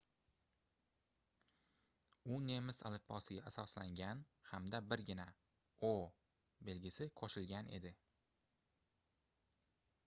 u nemis alifbosiga asoslangan hamda birgina õ/õ belgisi qo'shilgan edi